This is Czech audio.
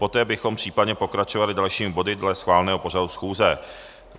Poté bychom případně pokračovali dalšími body dle schváleného pořadu schůze.